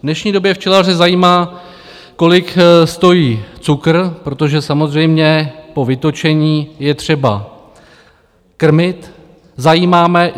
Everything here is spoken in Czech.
V dnešní době včelaře zajímá, kolik stojí cukr, protože samozřejmě po vytočení je třeba krmit.